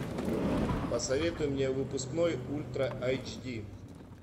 посоветуй мне выпускной ультра айч ди